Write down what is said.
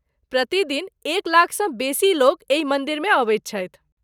प्रति दिन एक लाखसँ बेसी लोक एहि मन्दिरमे अबैत छथि।